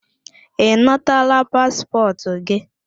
Ị nataala paspọtụ gị?